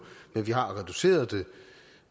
men vi har reduceret det